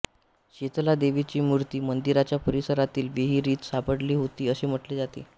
शितलादेवीची मूर्ती मंदिराच्या परिसरातील विहिरीत सापडली होती असे म्हटले जाते